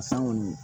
San kɔni